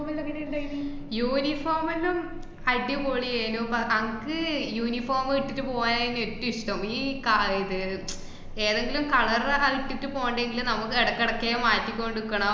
uniform എല്ലോ അടിപൊളി ഏനു. പ~ അങ്~ ക്ക് uniform മ് ഇട്ടിട്ട് പൂവാനായിന്നു ഏറ്റോം ഇഷ്ടം. ഈ കാ~ ഇത് ഏതെങ്കിലും colour റാ ആഹ് ഇട്ടിട്ട് പോകണ്ടേങ്കില് നമക്ക് എടക്കിടക്കേ മാറ്റിക്കോണ്ട് ഇക്കണം.